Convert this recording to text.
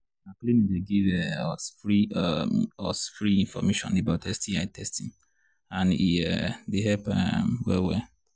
na clinic they give um us free um us free information about sti testing and he um they help um well well